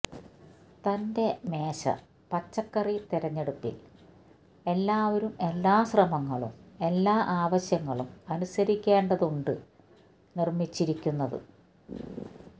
തന്റെ മേശ പച്ചക്കറി തിരഞ്ഞെടുപ്പിൽ എല്ലാവരും എല്ലാ ശ്രമങ്ങളും എല്ലാ ആവശ്യങ്ങളും അനുസരിക്കേണ്ടതുണ്ട് നിർമ്മിച്ചിരിക്കുന്നത്